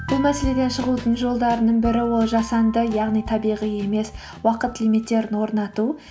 бұл мәселеден шығудың жолдарының бірі ол жасанды яғни табиғи емес уақыт лимиттерін орнату